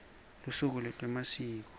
lusuku lwetemasiko